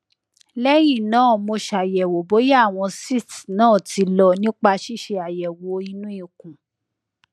lẹyìn náà mo ṣàyẹwò bóyá àwọn cysts náà ti lọ nípa ṣíṣe àyẹwò inú ikùn